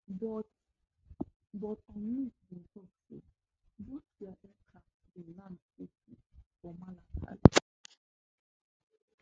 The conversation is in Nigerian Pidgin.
but but unmiss bin tok say both dia aircraft bin land safely for malakal